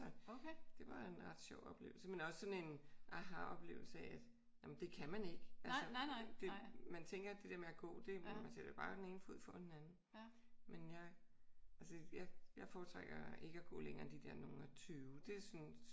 Så det var en ret sjov oplevelse men også sådan en aha-oplevelse af at det kan man ikke altså. Det man tænker det der med at gå nå man sætter bare den ene fod foran den anden men jeg altså jeg foretrækker ikke at gå længere end de der nogle og 20. Det synes